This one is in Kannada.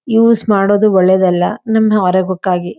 ಯೂಸ್ ಮಾಡೋದು ಒಳ್ಳೇದಲ್ಲಾ ನಮ್ ಆರೋಗ್ಯಕ್ಕಾಗಿ--